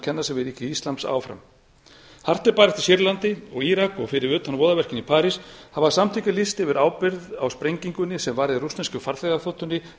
kenna sig við ríki íslams áfram hart er barist í sýrlandi og í írak og fyrir utan voðaverkin í parís hafa samtökin lýst yfir ábyrgð á sprengingunni sem varð í rússnesku